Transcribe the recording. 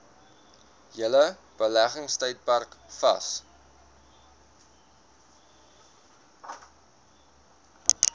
hele beleggingstydperk vas